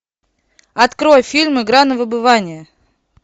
открой фильм игра на выбывание